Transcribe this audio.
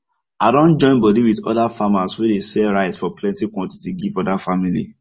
i don join bodi with oda farmers wey dey sell rice for plenty quantity give oda family